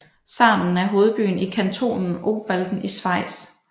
Sarnen er hovedbyen i kantonen Obwalden i Schweiz